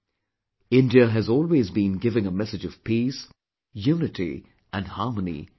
India has always been giving a message of peace, unity and harmony to the world